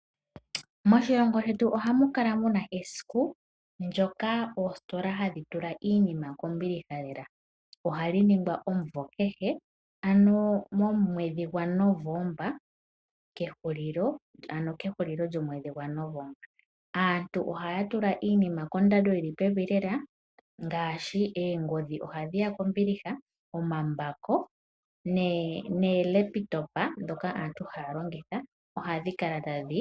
Moshilongo shetu ohamu kala mu na esiku ndyoka oostola hadhi tula iinima kombiliha lela. Ohali ningwa omunvo kehe ano momwedhii gwaNovember kehulilo lyomwedhi. Aantu ohaa tula iinima kondando yili pevi lela ngaashi oongodhi noolaptop.